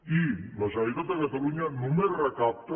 i la generalitat de catalunya només recapta